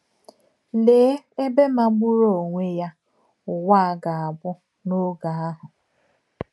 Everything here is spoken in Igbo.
Lèè èbè màgbùrù onwé yà ùwà à gà-àbụ̀ n’ògè àhụ̀!